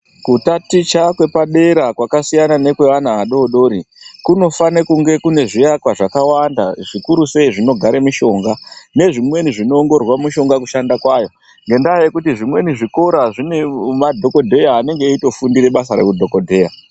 Kutaticha kwepadera kwakasiyana nekwevana vadodori kunofana kunge kune zviakwa zvakawanda zvikuru sei zvinogara mishonga nezvimweni sei zvinoongororwa mishonga kushanda kwayo ngenda yekuti zvimweni zvikora zvine madhokodheya anenge eitofundira basa reudhokodheya.